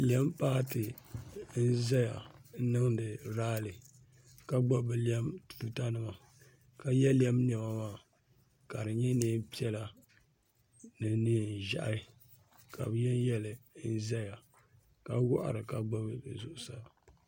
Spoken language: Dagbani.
Lɛm paati n ʒɛya n niŋdi raali ka gbubi bi lɛm tuuta nima ka yɛ lɛm niɛma ka di nyɛ niɛn piɛla ni niɛn ʒiɛhi ka bi yɛ n yɛ li ʒɛya ka wahiri ka gbubi zuɣusaa.